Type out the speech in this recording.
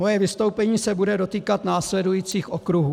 Moje vystoupení se bude dotýkat následujících okruhů: